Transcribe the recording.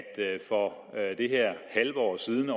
for det her halve år siden